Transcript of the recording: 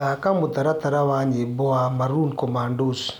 thaka mũtaratara wa nyĩmbo wa maroon commandos